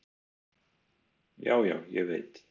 """Já, já, ég veit."""